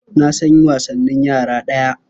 Na san wasanin yara daya.